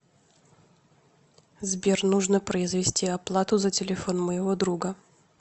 сбер нужно произвести оплату за телефон моего друга